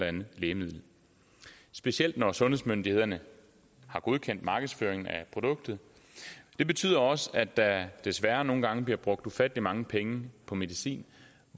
andet lægemiddel specielt når sundhedsmyndighederne har godkendt markedsføring af produktet det betyder også at der desværre nogle gange bliver brugt ufattelig mange penge på medicin